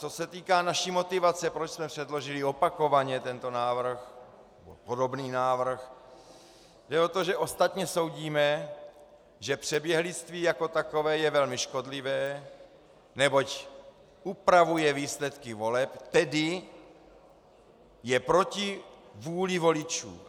Co se týká naší motivace, proč jsme předložili opakovaně tento návrh, podobný návrh, jde o to, že ostatně soudíme, že přeběhlictví jako takové je velmi škodlivé, neboť upravuje výsledky voleb, tedy je proti vůli voličů.